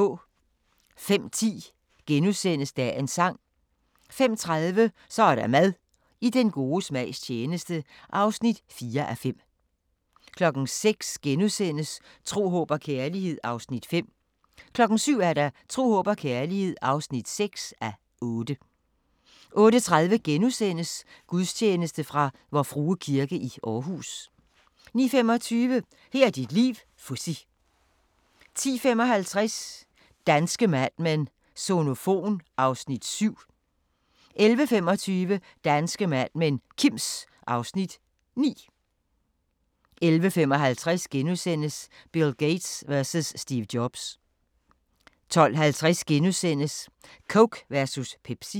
05:10: Dagens Sang * 05:30: Så er der mad – I den gode smags tjeneste (4:5) 06:00: Tro, håb og kærlighed (5:8)* 07:00: Tro, håb og kærlighed (6:8) 08:30: Gudstjeneste fra Vor Frue Kirke, Aarhus * 09:25: Her er dit liv - Fuzzy 10:55: Danske Mad Men: Sonofon (Afs. 7) 11:25: Danske Mad Men: Kims (Afs. 9) 11:55: Bill Gates versus Steve Jobs * 12:50: Coke versus Pepsi *